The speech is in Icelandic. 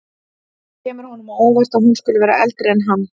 Það kemur honum á óvart að hún skuli vera eldri en hann.